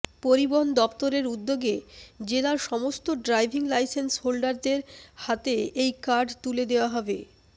পরিবহণ দফতরের উদ্যোগে জেলার সমস্ত ড্রাইভিং লাইসেন্স হোল্ডারদের হাতে এই কার্ড তুলে দেওয়া হবে